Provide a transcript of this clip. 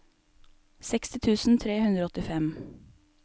seksti tusen tre hundre og åttifem